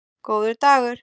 Góður dagur